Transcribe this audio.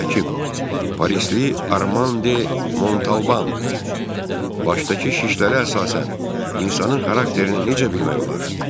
məşhur həkim parislili Armande Montalban başdakı şişlərə əsasən insanın xarakterini necə bilmək olar?